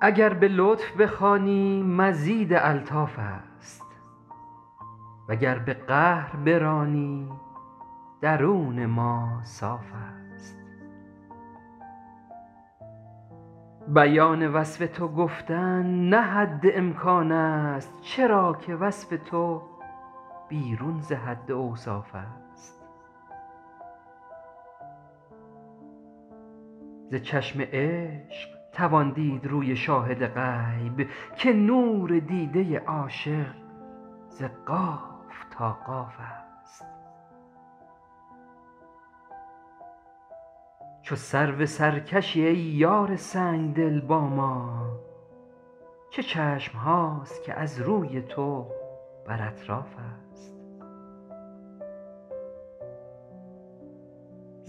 اگر به لطف بخوانی مزید الطاف است وگر به قهر برانی درون ما صاف است بیان وصف تو گفتن نه حد امکان است چرا که وصف تو بیرون ز حد اوصاف است ز چشم عشق توان دید روی شاهد غیب که نور دیده عاشق ز قاف تا قاف است چو سرو سرکشی ای یار سنگدل با ما چه چشم هاست که از روی تو بر اطراف است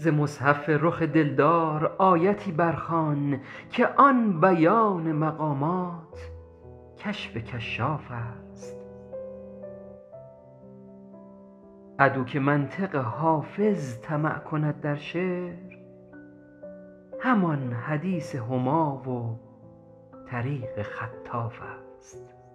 تو را که مایه خلد است نیاز همتا نیست از این مثال گزینم روان در اطراف است ز مصحف رخ دلدار آیتی بر خوان که آن بیان مقامات کشف کشاف است عدو که منطق حافظ طمع کند در شعر همان حدیث هما و طریق خطاف است